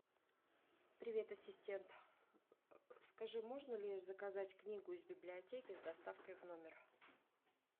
привет ассистент скажи можно ли заказать книгу из библиотеки с доставкой в номер